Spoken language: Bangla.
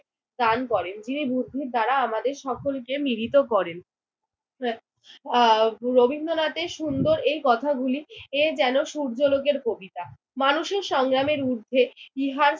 দান করেন। যিনি বুদ্ধির দ্বারা আমাদের সকলকে মিলিত করেন। আহ রবীন্দ্রনাথের সুন্দর এই কথাগুলি এ যেন সূর্য লোকের কবিতা। মানুষের সংগ্রামের ঊর্ধ্বে ইহার